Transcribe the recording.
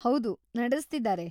ಹೌದು, ನಡೆಸ್ತಿದಾರೆ.